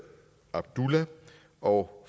abdullah og